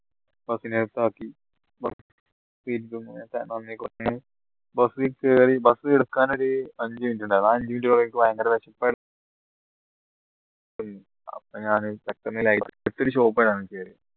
bus കേറി bus എടുക്കാൻ ഒരു പതിനഞ്ച minute ഉണ്ടായിരുന്നു ഭയങ്കര വിശപ്പയിരുന്നു shop